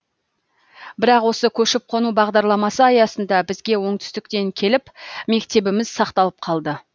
бірақ осы көшіп қону бағдарламасы аясында бізге оңтүстіктен келіп мектебіміз сақталып қалды